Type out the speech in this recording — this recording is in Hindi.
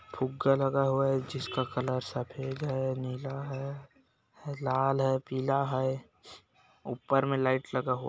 फुग्गा लगा हुआ है जिसका कलर सफेद है नीला है लाल है पिला है ऊपर मे लाइट लगा हुआ--।